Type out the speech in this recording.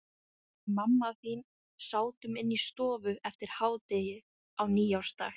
Við mamma þín sátum inni í stofu eftir hádegi á nýársdag.